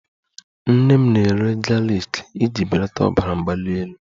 Nnene m na-eri galiki iji belata ọbara mgbali elu ya